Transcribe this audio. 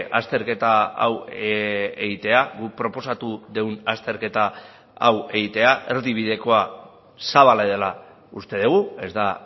azterketa hau egitea guk proposatu dugun azterketa hau egitea erdibidekoa zabala dela uste dugu ez da